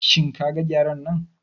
Shin kaga Gyaren nan?